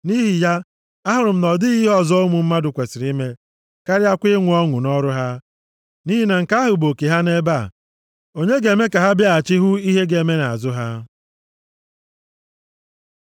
Nʼihi ya, ahụrụ m na ọ dịghị ihe ọzọ ụmụ mmadụ kwesiri ime karịakwa inwe ọṅụ nʼọrụ ha, nʼihi na nke ahụ bụ oke ha nʼebe a. Onye ga-eme ka ha bịaghachi hụ ihe ga-eme nʼazụ ha?